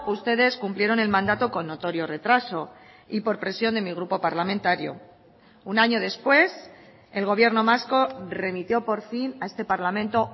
ustedes cumplieron el mandato con notorio retraso y por presión de mi grupo parlamentario un año después el gobierno vasco remitió por fin a este parlamento